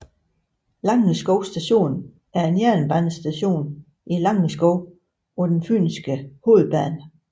Langeskov Station er en jernbanestation i Langeskov på den fynske hovedbane